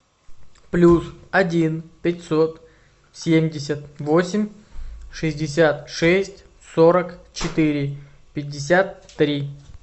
плюс один пятьсот семьдесят восемь шестьдесят шесть сорок четыре пятьдесят три